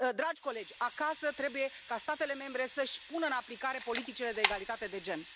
Dragi colegi, acasă trebuie ca statele membre să își pună în aplicare politicile de egalitate de gen.